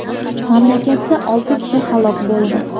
Mamlakatda olti kishi halok bo‘ldi.